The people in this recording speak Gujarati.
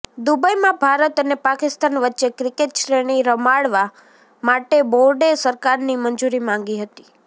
દુબઈમાં ભારત અને પાકિસ્તાન વચ્ચે ક્રિકેટ શ્રેણી રમાડવા માટે બોર્ડે સરકારની મંજુરી માગી હતી